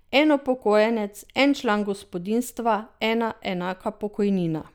En upokojenec, en član gospodinjstva, ena enaka pokojnina.